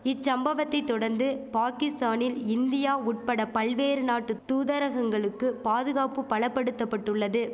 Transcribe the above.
இச்சம்பவத்தை தொடந்து பாகிஸ்தானில் இந்தியா உட்பட பல்வேறு நாட்டு தூதரகங்களுக்கு பாதுகாப்பு பலபடுத்தபட்டுள்ளது